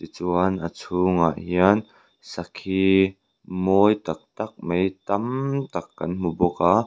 chuan a chhungah hian sakhi mawi tak tak mai tam tak kan hmu bawk a.